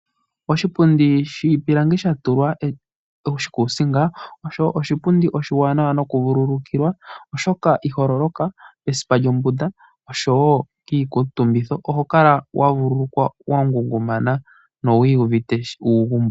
Oshipundi shiipilangi sha tulwa oshikuusinga osho oshipundi oshiwanawa noku vululukiwa oshoka iho loloka esipa lyombunda oshowo kiikutumbitho, oho kala wa vululukwe wa ngungumana nowi iyuvite uugumbo.